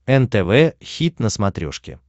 нтв хит на смотрешке